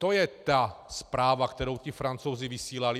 To je ta zpráva, kterou ti Francouzi vysílali.